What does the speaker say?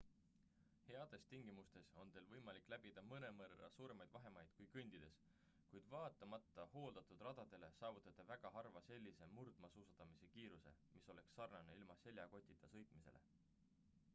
heades tingimustes on teil võimalik läbida mõnevõrra suuremaid vahemaid kui kõndides kuid vaatamata hooldatud radadele saavutate väga harva sellise murdmaasuusatamise kiiruse mis oleks sarnane ilma seljakotita sõitmisele